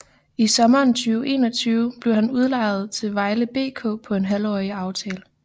I sommeren 2021 blev han udlejet til Vejle BK på en halvårig aftale